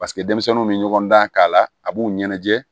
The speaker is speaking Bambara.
Paseke denmisɛnninw bɛ ɲɔgɔn dan k'a la a b'u ɲɛnajɛ